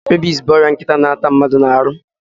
Rabis bụ ọrịa nkịtị na-atanye mmadụ n'ahụ.